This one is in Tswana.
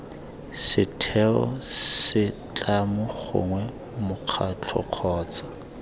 setheo setlamo gongwe mokgatlho kgotsa